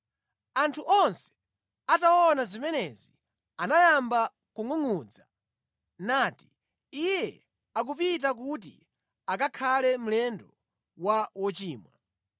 Anthu onse ataona zimenezi anayamba kungʼungʼudza, nati, “Iye akupita kuti akakhale mlendo wa wochimwa.”